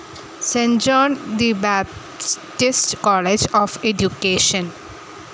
saint John the Baptist College of education